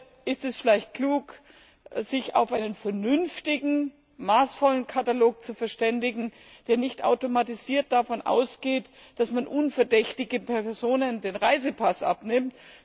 Oder ist es vielleicht klug, sich auf einen vernünftigen, maßvollen Katalog zu verständigen, der nicht automatisiert davon ausgeht, dass man unverdächtigen Personen den Reisepass abnimmt?